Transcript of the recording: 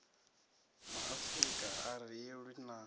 maafrika a ri lwi na